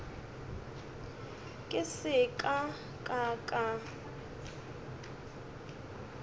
ke se ka ka ka